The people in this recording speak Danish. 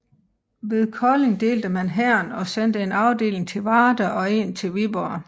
Ved Kolding delte han hæren og sendte en afdeling til Varde og en til Viborg